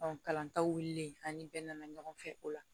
kalantaw ani bɛɛ nana ɲɔgɔn fɛ o la